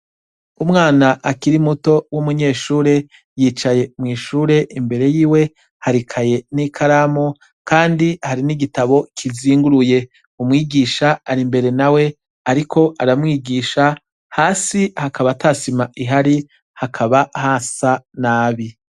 Umwana akiri muto w'umunyeshure yicaye mw'ishure, imbere y'iwe hari ikaye n'ikaramu kandi hari n'igitabo kizinguruye. umwigisha ari mbere na we ariko aramwigisha, hasi hakaba tasima ihari, hakaba hasa nabi.